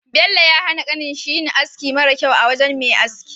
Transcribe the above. Bello ya hana kanin shi yin aski mara kyau a wajan Me aski